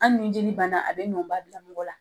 Hali ni jeli banna a bi nɔba bila mɔgɔ la